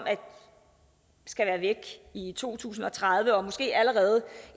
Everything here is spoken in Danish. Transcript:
skal være væk i to tusind og tredive og måske allerede